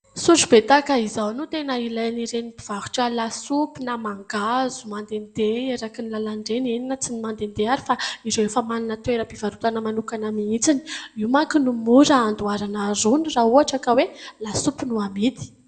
Sotrobe tahaka izao no tena ilain'ireny mpivarotra lasopy na mangahazo mandehandeha eraky ny làlana ireny ; eny na tsy mandehandeha ary, fa ireo efa manana toeram-pivarotana mihitsy. Io manko no mora andoharana rony raha ka hoe lasopy no amidy.